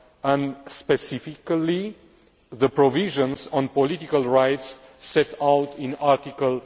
and, specifically, the provisions on political rights set out in Article